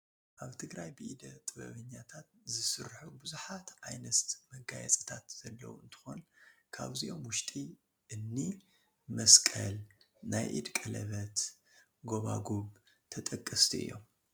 ኣብ ትግራይ ብኢደ ጥበበኛታት ዝስርሑ ብዙሓት ዓይነት መጋየፅታት ዘለዉ እንትኾን ካብዚኦም ውሽጢ እኒ መስቀል፣ ናይ ኢድ ቀለበት፣ ጐባጉብ ተጠቀስቲ እዮም፡፡